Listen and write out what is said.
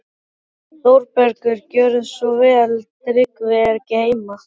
ÞÓRBERGUR: Gjörðu svo vel, Tryggvi er ekki heima.